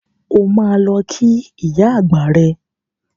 O máa lọ kí ìyá àgbà rẹ.